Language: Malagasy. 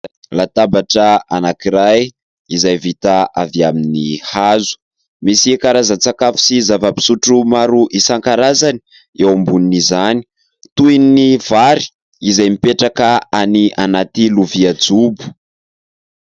Latabatra anankiray izay vita avy amin'ny hazo, misy karazan-tsakafo sy zava-pisotro maro isan-karazany eo ambonin'izany toy ny vary izay mipetraka ao anaty lovia jobo.